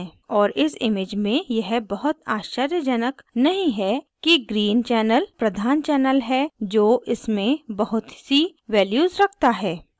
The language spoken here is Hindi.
और इस image में यह बहुत आश्चर्यजनक नहीं है कि green channel प्रधान channel है जो इसमें बहुत सी values रखता है